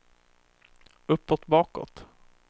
uppåt bakåt